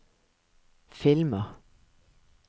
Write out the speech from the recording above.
filmer